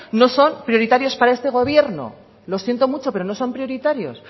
no son prioritarios para este gobierno lo siento mucho pero no son prioritarios